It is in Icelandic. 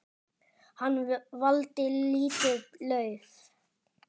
Hann valdi lítið lauf.